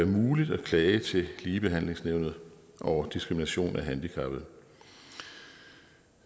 muligt at klage til ligebehandlingsnævnet over diskrimination af handicappede